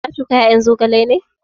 Ka na shuka ƴaƴan zogalen ne?